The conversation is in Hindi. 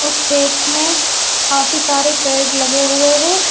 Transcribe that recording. इस खेत में काफी सारे पेड़ लगे हुए हैं।